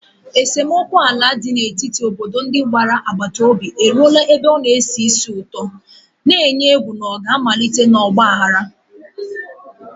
Esemokwu ala dị n'etiti obodo ndị gbara agbata obi eruola ebe na-esi ísì ụtọ, na-eyi egwu na ọ ga-amalite n'ọgba aghara.